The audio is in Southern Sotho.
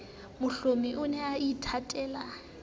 mohlomi o ne a ithatela